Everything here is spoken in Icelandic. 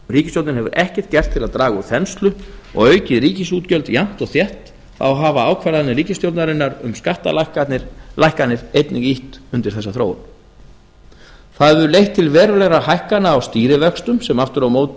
ríkisstjórnin hefur ekkert gert til að draga úr þenslu og aukið ríkisútgjöldin jafnt og þétt þá hafa ákvarðanir ríkisstjórnarinnar um skattalækkanir einnig ýtt undir þessa þróun það hefur leitt til verulegra hækkana á stýrivöxtum sem aftur á móti það hefur leitt til verulegra hækkana á stýrivöxtum sem aftur á móti hefur